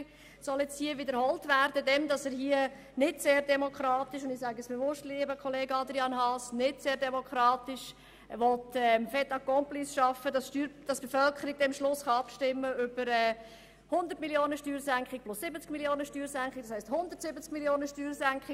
Das soll nun hier wiederholt werden, indem er, nicht sehr demokratisch – das sagen wir bewusst, lieber Kollege Grossrat Haas! – ein Fait accompli schaffen will, damit die Bevölkerung am Schluss über 100 Mio. Franken Steuersenkung und über zusätzliche 70 Mio. Franken beschliessen soll, das heisst über insgesamt 170 Mio. Franken Steuersenkung.